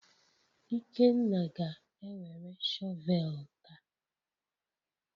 Ikenna ga-ewere shọvel taa